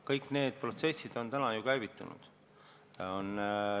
Kõik need protsessid on ju käivitunud.